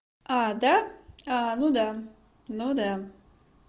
да ну да ну да